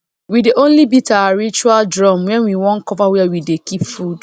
we dey only beat our ritual drum when we wan cover where we dey keep food